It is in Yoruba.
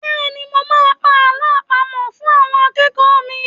Bẹ́́ẹ̀ ni, mo máa pa àlọ́ àpamọ̀ fún àwọn akẹ́kọ̀ọ́ mi.